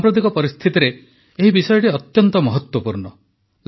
ସାମ୍ପ୍ରତିକ ପରିସ୍ଥିତିରେ ଏହି ବିଷୟଟି ଅତ୍ୟନ୍ତ ମହତ୍ୱପୂର୍ଣ୍ଣ